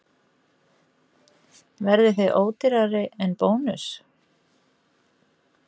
Þorbjörn: Verðið þið ódýrari en Bónus?